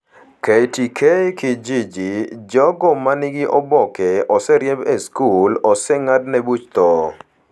KtkKijiji: Jogo ma nigi oboke oseriemb e skul/oseng'adne buch tho.